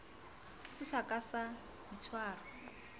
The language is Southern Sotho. se sa ka sa itshwara